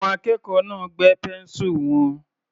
Àwọn akẹ́kọ̀ọ́ náà gbẹ́ pẹ́ńsù wọn.